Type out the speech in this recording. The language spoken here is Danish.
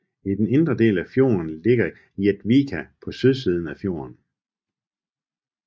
I denne indre del af fjorden ligger Jektvika på sydsiden af fjorden